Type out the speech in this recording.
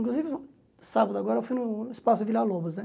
Inclusive, sábado agora eu fui no espaço Vila Lobos, né?